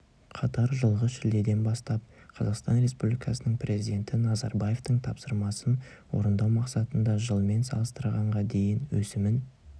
қатар жылғы шілдеден бастап қазақстан республикасының президенті назарбаевтың тапсырмасын орындау мақсатында жылмен салыстырғанда дейін өсімін